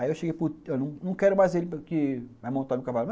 Aí eu cheguei para... Eu não quero mais ele que vai montar no cavalo.